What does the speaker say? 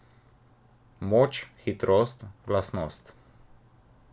Moč, hitrost, glasnost...